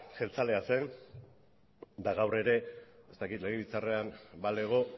jeltzalea zen eta gaur ere ez dakit legebiltzarrean balego